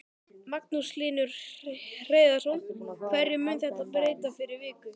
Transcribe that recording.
Magnús Hlynur Hreiðarsson: Hverju mun þetta breyta fyrir ykkur?